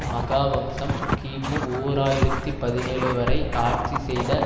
மஹாவம்சம் கிமு ஓர் ஆயிரத்தி பதினேழு வரை ஆட்சி செய்த